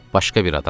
Başqa bir adam dedi.